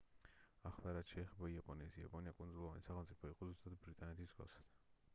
ახლა რაც შეეხება იაპონიას იაპონია კუნძულოვანი სახელმწიფო იყო ზუსტად ბრიტანეთის მსგავსად